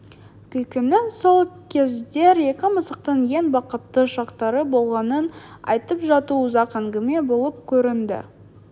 күткенін сол кездер екі мысықтың ең бақытты шақтары болғанын айтып жату ұзақ әңгіме болып көрінді